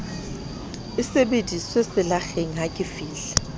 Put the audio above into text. e sebediswe selakgeng ha ke